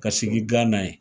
Ka sigi Gana ye